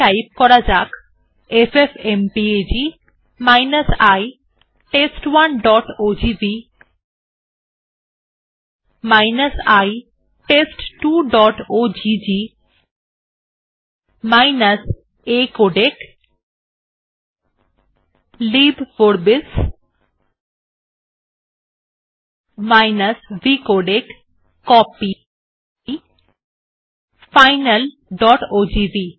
type করা যাক FFmpeg i test1ওজিভি i test2ওজিজি acodec লিবভরবিস vcodec কপি finalওজিভি